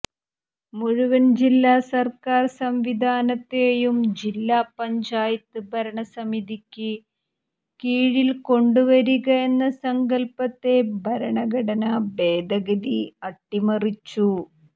മുഴുവൻ ജില്ലാ സർക്കാർ സംവിധാനത്തെയും ജില്ലാപഞ്ചായത്ത് ഭരണസമിതിക്ക് കീഴിൽ കൊണ്ടുവരിക എന്ന സങ്കൽപ്പത്തെ ഭരണഘടനാ ഭേദഗതി അട്ടിമറിച്ചു